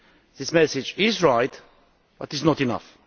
This message is right, but it is not enough.